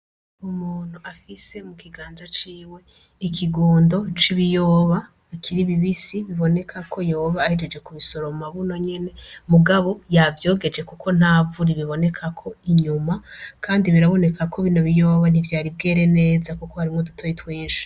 Umuntu afise mu kiganza ciwe ikigundo c'ibiyoba bikiri bibisi biboneka ko yoba ahejeje ku bisoro mu mabuno nyene mugabo yavyogeje, kuko ntavuri bibonekako inyuma, kandi biraboneka ko bino biyoba nivyaribwere neza, kuko harimwo dutoye twinshi.